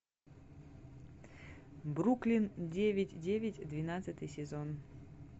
бруклин девять девять двенадцатый сезон